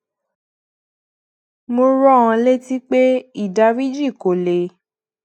mo rán an létí pé ìdáríjì kò lè